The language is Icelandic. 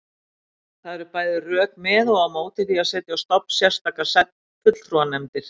Það eru bæði rök með og á móti því að setja á stofn sérstakar fulltrúanefndir.